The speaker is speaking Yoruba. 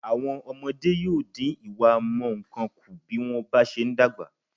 Àwọn ọmọde yóò dín ìwámọ̀unkun kù bí wọ́n bá se ń dàgbà.